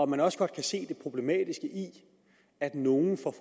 man også godt kan se det problematiske i at nogle får